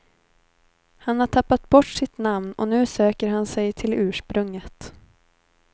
Han har tappat bort sitt namn och nu söker han sig till ursprunget.